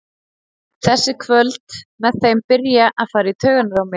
Þessi kvöld með þeim byrja að fara í taugarnar á mér.